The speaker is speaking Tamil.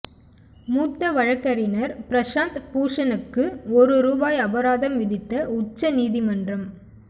மூத்த வழக்கறிஞர் பிரசாந்த் பூஷணுக்கு ஒரு ரூபாய் அபாரதம் விதித்த உச்ச நீதிமன்றம்